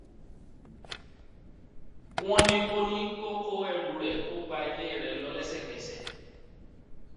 wọn ní kó ní kó kó ẹrù ẹ kó gba ilé rẹ lọ lẹsẹkẹsẹ